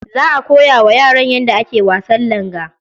Za a koya wa yaran yadda ake wasan langa.